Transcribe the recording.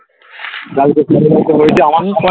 কালকে ঘরের মধ্যে হয়েছে আমার